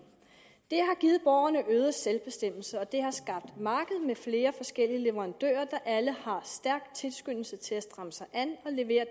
det har givet borgerne øget selvbestemmelse og det har skabt et marked med flere forskellige leverandører der alle har en stærk tilskyndelse til at stramme sig an og levere